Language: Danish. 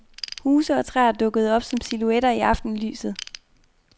Huse og træer dukkede op som silhuetter i aftenlyset.